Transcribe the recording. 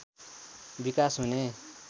विकास हुने